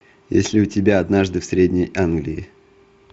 есть ли у тебя однажды в средней англии